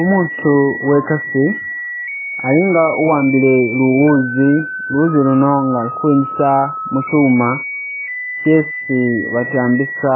Umuutu uwe'kasi ali nga uwambile luwuuzi, luwuzi luno nga ali kwingisa mukyuuma kyesi batambisa